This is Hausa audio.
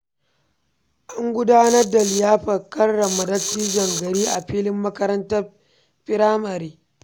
An gudanar da liyafar karrama dattijan gari a filin makarantar firamare.